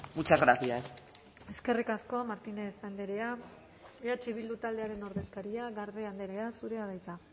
muchas gracias eskerrik asko martínez andrea eh bildu taldearen ordezkaria garde andrea zurea da hitza